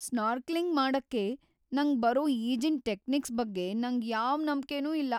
Snorkelling ಮಾಡಕ್ಕೆ ನಂಗ್ ಬರೋ ಈಜಿನ್ ಟೆಕ್ನಿಕ್ಸ್‌ ಬಗ್ಗೆ ನಂಗ್ ಯಾವ್ ನಂಬ್ಕೆನೂ ಇಲ್ಲ.